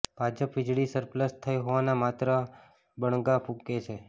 ભાજપ વીજળી સરપ્લસ થઇ હોવાના માત્ર બણગાં ફુુંકે છે